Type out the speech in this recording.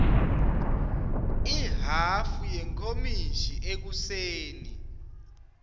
ihhafu yenkomishi ekuseni